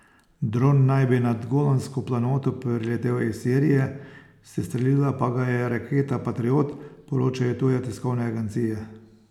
Dron naj bi nad Golansko planoto priletel iz Sirije, sestrelila pa ga je raketa patriot, poročajo tuje tiskovne agencije.